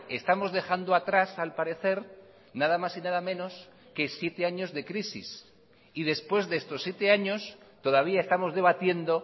estamos dejando atrás al parecer nada mas y nada menos que siete años de crisis y después de estos siete años todavía estamos debatiendo